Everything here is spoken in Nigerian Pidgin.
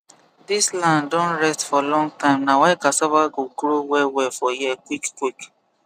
this land don rest for long time na why cassava go grow wellwell for here quick quick